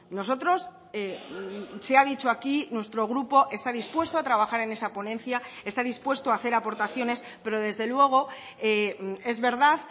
nosotros se ha dicho aquí nuestro grupo está dispuesto a trabajar en esa ponencia está dispuesto a hacer aportaciones pero desde luego es verdad